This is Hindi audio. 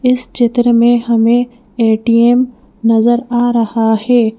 इस चित्र में हमें ए_टी_एम नजर आ रहा है।